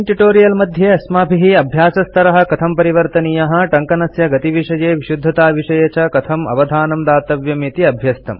अस्मिन् ट्युटोरियल् मध्ये अस्माभिः अभ्यासस्तरः कथं परिवर्तनीयः टङ्कनस्य गतिविषये विशुद्धताविषये च कथं अवधानं दातव्यम् इति अभ्यस्तम्